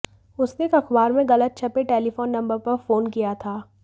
उसने एक अखबार में गलत छपे टेलीफोन नंबर पर फोन किया था